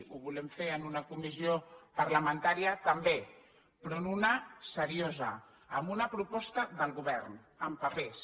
ho volem fer en una comissió parlamentària també però en una de seriosa amb una proposta del govern amb papers